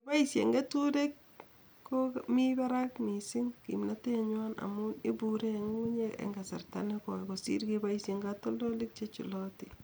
Kepoishen keturek komi barak mising kimnatenyawi amun ibuure eng ngungunyek eng kasarta nekoi kosir keboishen katoldoik chechulotin.